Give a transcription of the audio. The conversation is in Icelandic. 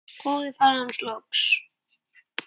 hváði faðir hans loks.